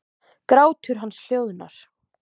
Grátur hans hljóðnar.